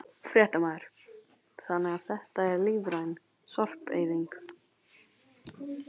Fréttamaður: Þannig að þetta er lífræn sorpeyðing?